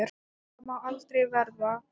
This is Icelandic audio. Það má aldrei verða.